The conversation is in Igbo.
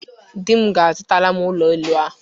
Di m ga-azụtara m ụlọ elụ ahụ